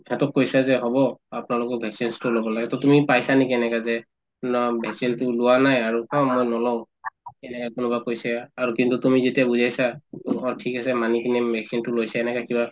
সিহঁতক কৈছা যে হব আপোনালোকক vaccination তো লব লাগে to তুমি পাইছা নেকি এনেকা যে vaccine তো লোৱা নাই আৰু অ মই নলওঁ এনেকে কোনোবাই কৈছে আৰু কিন্তু তুমি যেতিয়া বুজাইছা ঠিক আছে মানি কিনে vaccine তো লৈছে এনেকা কিবা